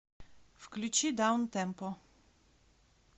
включи даунтемпо